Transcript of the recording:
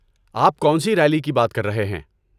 آپ کون سی ریلی کی بات کر رہے ہیں؟